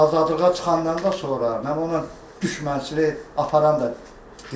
Mən ondan azadlığa çıxandan da sonra mən ona düşmənçilik aparan da deyiləm.